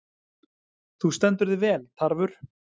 Þú stendur þig vel, Tarfur!